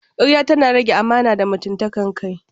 Karya tana rage amana da mutunta kai.